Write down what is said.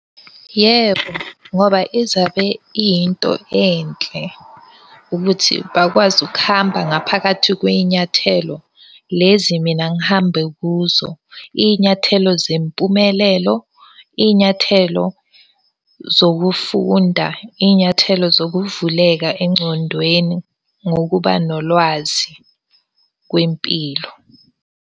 Yebo ngoba izabe iyinto enhle ukuthi bakwazi ukuhamba ngaphakathi kwey'nyathelo lezi mina ngihambe kuzo. Iy'nyathelo zempumelelo, iy'nyathelo zokufunda, iy'nyathelo zokuvuleka engcondweni ngokuba nolwazi kwempilo.